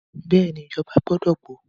Bẹ́ẹ̀ni, ìjọba gbọdọ̀ gbọ́.